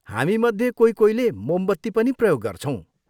हामीमध्ये कोही कोहीले मोमबत्ती पनि प्रयोग गर्छौँ।